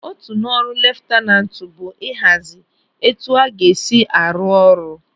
Otu n'ọrụ leftanantu bụ ịhazi etu a ga-esi arụ ọrụ.